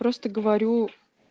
просто говорю